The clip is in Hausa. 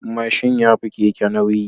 Mashin yafi Keke nauyi